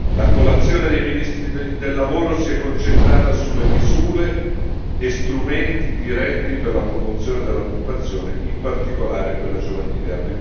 La colazione dei ministri del lavoro si è concentrata sulle misure e strumenti diretti per la promozione dell'occupazione, in particolare quella giovanile.